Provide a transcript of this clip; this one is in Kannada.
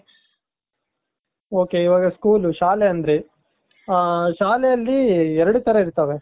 ok ಇವಾಗ school ಶಾಲೆ ಅಂದ್ರಿ ಹ ಶಾಲೆ ಅಲ್ಲಿ ಎರಡು ತರ ಇರ್ತಾವೆ .